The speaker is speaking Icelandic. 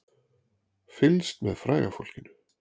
Fylgst með fræga fólkinu